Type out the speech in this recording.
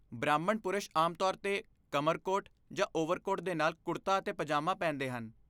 ਬ੍ਰਾਹਮਣ ਪੁਰਸ਼ ਆਮ ਤੌਰ 'ਤੇ ਕਮਰਕੋਟ ਜਾਂ ਓਵਰਕੋਟ ਦੇ ਨਾਲ ਕੁੜਤਾ ਅਤੇ ਪਜਾਮਾ ਪਹਿਨਦੇ ਹਨ।